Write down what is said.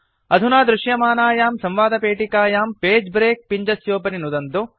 अधुना दृशमानायां संवादपेटिकायां पगे ब्रेक पिञ्जस्योपरि नुदन्तु